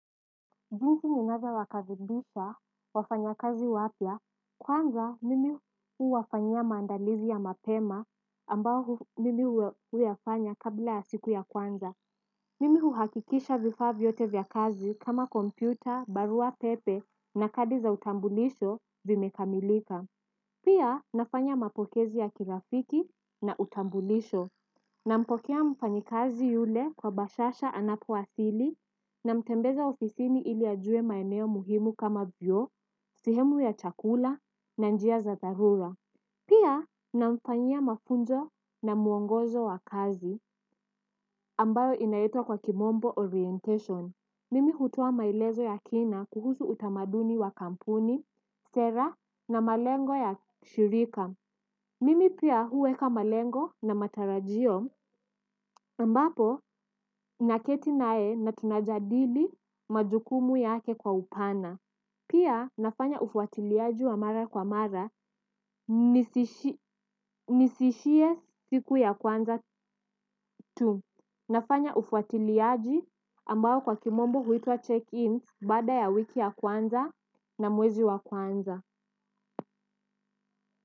Jinsi ninavyo wakaribisha wafanya kazi wapya kwanza mimi huwafanyia maandalizi ya mapema ambao mimi huyafanya kabla ya siku ya kwanza. Mimi huhakikisha vifaa vyote vya kazi kama kompyuta barua pepe na kadi za utambulisho zimekamilika. Pia nafanya mapokezi ya kirafiki na utambulisho, na mpokea mfanyikazi yule kwa bashasha anapo wasili na mtembeza ofisini iliajue maeneo muhimu kama vyoo, sehemu ya chakula na njia za dharura. Pia na mfanyia mafunzo na muongozo wa kazi ambayo inaitwa kwa kimombo orientation. Mimi hutoa maelezo ya kina kuhusu utamaduni ya kampuni, sera na malengo ya shirika. Mimi pia huweka malengo na matarajio ambapo naketi nae na tunajadili majukumu yake kwa upana. Pia nafanya ufuatiliaji wa mara kwa mara nisiishie siku ya kwanza tu. Nafanya ufuatiliaji ambao kwa kimombo huitwa check-in baada ya wiki ya kwanza na mwezi ya kwanza.